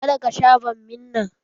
Ka da ka sha bammi nan!